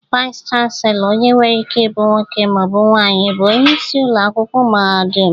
Vaịs chanselọ, onye nwere ike ibụ nwoke ma ọ bụ nwaanyị, bụ onyeisi ụlọ akwụkwọ mahadum.